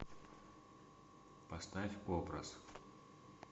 поставь образ